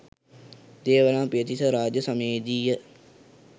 දේවානම්පියතිස්ස රාජ්‍ය සමයේ දීය